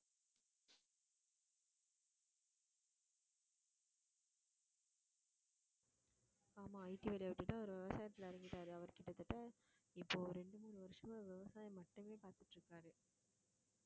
ஆமா IT வேலையை விட்டுட்டு அவரு விவசாயத்துல இறங்கிட்டாரு அவரு கிட்டத்தட்ட இப்போ இரண்டு, மூணு வருஷமா விவசாயம் மட்டுமே பாத்துட்டு இருக்காரு